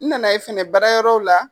I nana ye fɛnɛ baara yɔrɔ la.